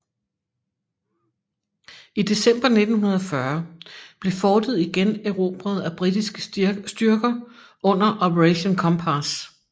I december 1940 blev fortet igen erobret af britiske styrker under Operation Compass